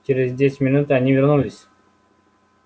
через десять минут они вернулись